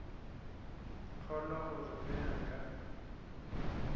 kgolwa gore ge a ka